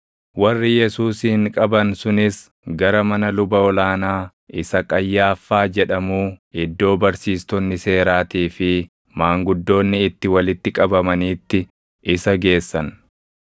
Warri Yesuusin qaban sunis gara mana luba ol aanaa isa Qayyaaffaa jedhamuu iddoo barsiistonni seeraatii fi maanguddoonni itti walitti qabamaniitti isa geessan.